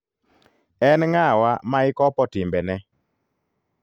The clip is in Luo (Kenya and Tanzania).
En ng'awa ma ikopo timbene?